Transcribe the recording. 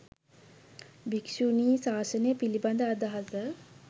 භික්‍ෂුණී ශාසනය පිළිබඳ අදහස